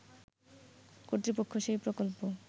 কর্তৃপক্ষ সেই প্রকল্প